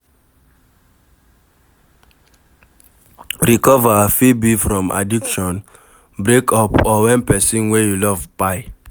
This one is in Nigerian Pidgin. Recover fit be from addiction, breakup or when person wey you love kpai